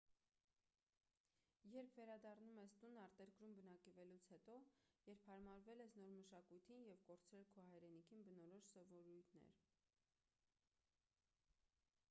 երբ վերադառնում ես տուն արտերկրում բնակվելուց հետո երբ հարմարվել ես նոր մշակույթին և կորցրել քո հայրենիքին բնորոշ սովորույթներ